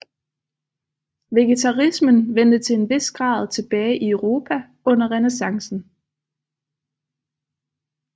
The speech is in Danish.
Vegetarismen vendte til en vis grad tilbage i Europa under Renæssancen